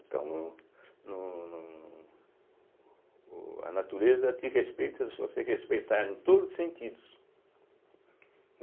Então, no no no o a natureza te respeita se você respeitar em todos os sentidos.